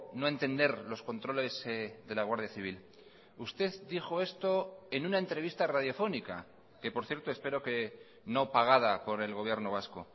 no entender los controles de la guardia civil usted dijo esto en una entrevista radiofónica que por cierto espero que no pagada por el gobierno vasco